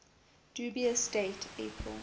dubious date april